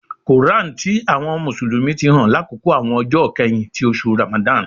Koran ti àwọn Mùsùlùmí ti hàn lákòókò àwọn ọjọ ikẹhin ti oṣù Ramadan.